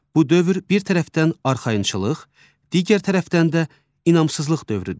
Bu dövr bir tərəfdən arxayınçılıq, digər tərəfdən də inamsızlıq dövrüdür.